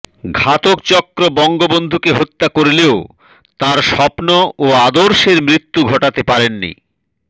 ঘাতকচক্র বঙ্গবন্ধুকে হত্যা করলেও তাঁর স্বপ্নও আদর্শের মৃত্যু ঘটাতে পারেনি